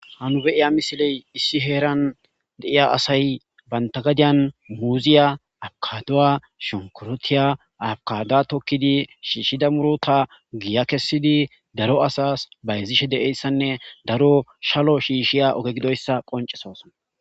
hanu be'ya misiley issi heeran de'iya asay banta gadiyan muuziya, abukaduwa, shonkurotiya, abokada tokkidi shiishshida murota giya kessidi daro asas bayzishe deieyssanne daro shalo shiishshiya oge gidoyssa qoncesosona